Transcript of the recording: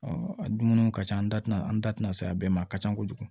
a dumuniw ka ca an da tina an da tɛna se a bɛɛ ma a ka ca kojugu